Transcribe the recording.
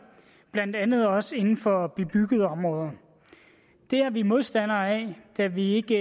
blandt andet også inden for bebyggede områder det er vi modstandere af da vi ikke